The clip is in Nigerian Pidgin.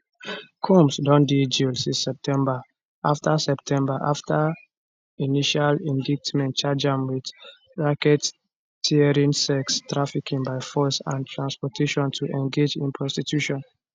combs don dey jail since september afta september afta initial indictment charge am wit racketeering sex trafficking by force and transportation to engage in prostitution